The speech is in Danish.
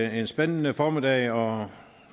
en spændende formiddag og